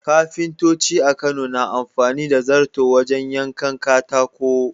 Kafintoci a Kano na amfani da zarto wajen yankan katako.